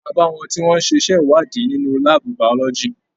A bá wọn tí wọn n ṣe iṣẹ ìwádìí nínú láàbù biology.